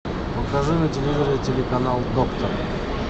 покажи на телевизоре телеканал доктор